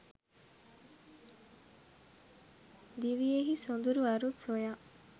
දිවියෙහි සොඳුරු අරුත් සොයා